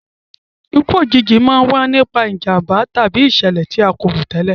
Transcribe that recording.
Ikú òjijì a máa wa nipa ìjànbá tàbí ìsẹ̀lẹ̀ ti a ko rò tẹ́lẹ̀